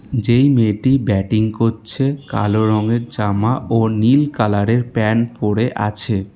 যেই মেয়েটি ব্যাটিং করছে কালো রঙের জামা ও নীল কালারের প্যান্ট পড়ে আছে।